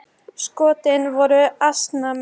Skotin voru ansi mörg.